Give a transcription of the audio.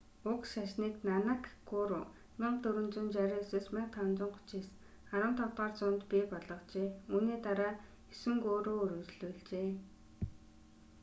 уг шашныг нанак гуру 1469–1539 15-р зуунд бий болгожээ. үүний дараа есөн гуру үргэлжлүүлжээ